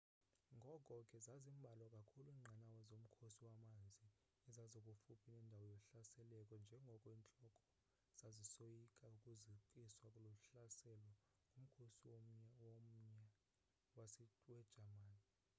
ngoko ke zazimbalwa kakhulu inqanawa zomkhosi wamanzi ezazikufuphi nendawo zohlaseleko njengoko intloko zasisoyika ukuzikiswa luhlaselo ngumkhosi womya wejamani